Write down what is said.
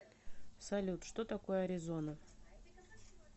салют что такое аризона